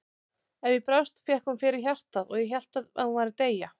Ef ég brást fékk hún fyrir hjartað og ég hélt að hún væri að deyja.